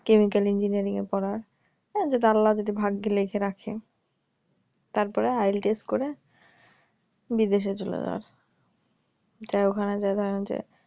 chemical engineering পড়ার হ্যাঁ যদি আল্লা যাতে ভাগ্যে লেখে রাখেন তারপরে IL test করে বিদেশে চলে যাওয়ার আর ওখানে যারা যে